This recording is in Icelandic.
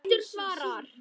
Pétur svarar.